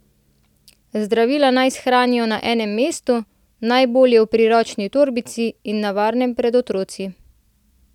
Zdravila naj shranijo na enem mestu, najbolje v priročni torbici, in na varnem pred otroci.